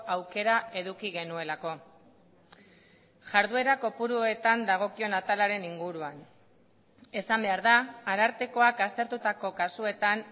aukera eduki genuelako jarduera kopuruetan dagokion atalaren inguruan esan behar da arartekoak aztertutako kasuetan